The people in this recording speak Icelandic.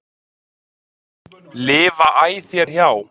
lifa æ þér hjá.